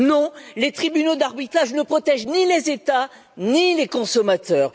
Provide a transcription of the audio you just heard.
Non, les tribunaux d'arbitrage ne protègent ni les États ni les consommateurs.